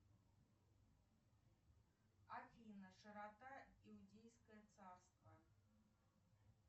афина широта иудейское царство